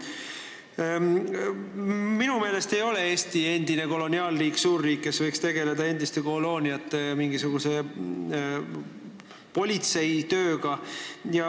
Minu meelest ei ole Eesti endine koloniaalriik, suurriik, kes võiks tegeleda politseitööga kunagistes kolooniates.